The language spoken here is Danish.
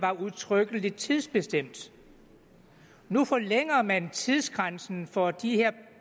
udtrykkeligt var tidsbestemte nu forlænger man tidsgrænsen for de her